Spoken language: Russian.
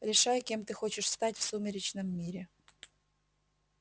решай кем ты хочешь стать в сумеречном мире